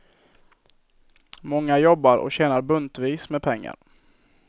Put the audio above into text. Många jobbar och tjänar buntvis med pengar.